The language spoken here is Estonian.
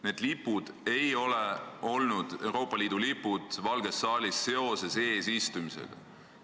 Need lipud, Euroopa Liidu lipud, ei toodud Valgesse saali seoses eesistumisega.